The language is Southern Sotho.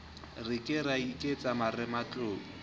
re ka ra iketsa marematlou